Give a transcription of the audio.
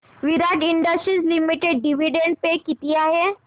विराट Industries Limited dividend pay किती आहे